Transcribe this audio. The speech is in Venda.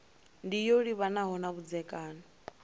ndi yo livhanaho na vhudzekani